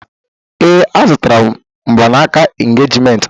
Ee, M zụtara mgbanaka engejiment ọhụrụ.